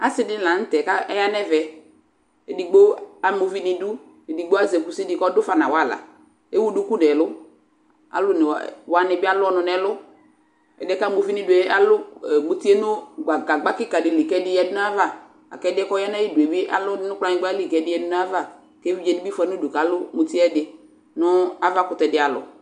Asi dιnι la nʋ tɛɛ ka aya nʋ ɛvɛ, edigbo ama uvi nʋ idʋ, edigbo azɛ kusi dι kʋ ɔdʋ fa nu awala, ewu duku nʋ ɛlʋ , alʋ oone wanι bι alʋ ɔnʋ nʋ ɛlʋƐdι yɛ kʋ ama uvi nʋ idu yɛ alʋ muti yɛ nʋ gagba kιka dι li, kʋ ɛdι ya du nʋ ayι ava , la kʋ ɛdι yɛ kʋ ɔya nʋ ayι du yɛ bι alʋ dʋ nʋ kplanyιgba li kʋ ɛdι ya du nʋ ayʋ ava, kʋ evidze dι bι fʋa nʋ udu kʋ alʋ muti yɛ ɛdι, nʋ ava kʋtɛ dι alɔ